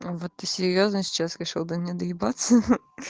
вот ты серьёзно сейчас решил до меня доебаться